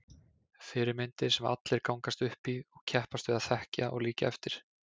Fyrirmyndir sem allir gangast upp í og keppast við að þekkja og líkja eftir.